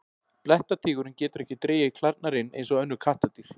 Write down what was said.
Blettatígurinn getur ekki dregið klærnar inn eins og önnur kattardýr.